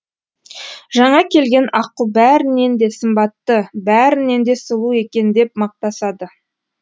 жаңа келген аққу бәрінен де сымбатты бәрінен де сұлу екен деп мақтасады